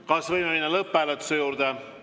Kas võime minna lõpphääletuse juurde?